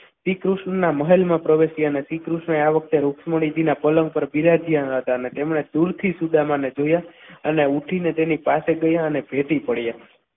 શ્રીકૃષ્ણના મહેલમાં પ્રવેશ્યા ને શ્રીકૃષ્ણએ આ વખતે રૂક્ષ્મણી જી પલંગ પર બિરાજ્યા હતા અને તેમણે દૂરથી સુદામાને જોયા અને ઊઠીને તેની પાસે ગયા અને ભેટી પડ્યા.